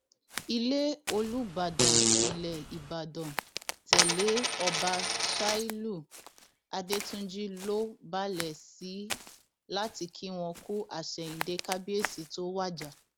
ilé olùbàdàn ilẹ ìbàdàn tẹlé ọba ṣálíù adẹtúnjì ló balẹ sí láti kí wọn kú àsẹyìndẹ kábíyèsí tó wájà